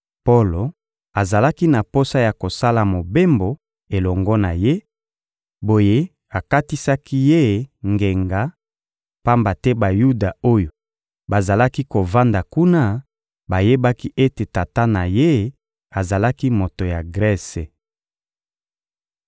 Polo azalaki na posa ya kosala mobembo elongo na ye, boye akatisaki ye ngenga; pamba te Bayuda oyo bazalaki kovanda kuna bayebaki ete tata na ye azalaki moto ya Grese.